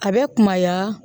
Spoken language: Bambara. A bɛ kumaya